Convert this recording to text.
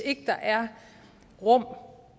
ikke der er rum